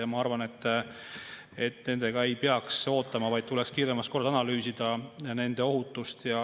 Ja ma arvan, et sellega ei peaks ootama, vaid tuleks kiiremas korras analüüsida nende ohutust.